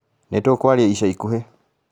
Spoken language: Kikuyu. Nĩtũkũaria ica ikuhĩ